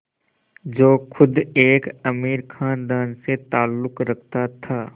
जो ख़ुद एक अमीर ख़ानदान से ताल्लुक़ रखता था